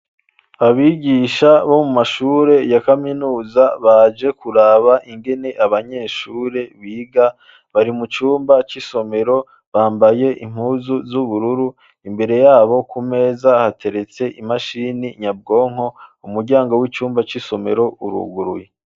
Abigisha bo mu mashure ya kaminuza baje kuraba ingene abanyeshure biga bari mu cumba c'isomero bambaye impuzu z'ubururu imbere yabo ku meza hateretse imashini nyabwonko umuryango w'icumba c'isomero uruguruye.